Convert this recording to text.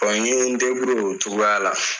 n ye n o cogoyala.